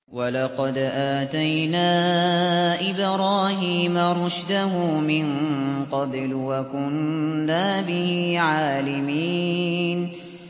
۞ وَلَقَدْ آتَيْنَا إِبْرَاهِيمَ رُشْدَهُ مِن قَبْلُ وَكُنَّا بِهِ عَالِمِينَ